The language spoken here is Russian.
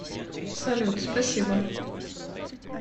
салют спасибо